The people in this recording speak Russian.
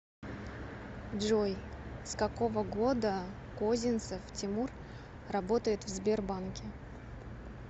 джой с какого года козинцев тимур работает в сбербанке